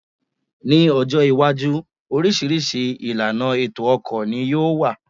Ní ọjọ́ iwájú, oríṣiríṣi ìlànà ètò ọkọ̀ ní yóò wà